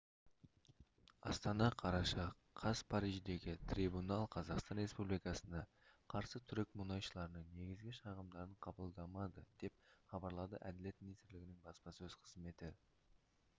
астана қараша қаз париждегі трибунал қазақстан республикасына қарсы түрік мұнайшыларының негізгі шағымдарын қабылдамады деп хабарлады әділет министрлігінің баспасөз қызметі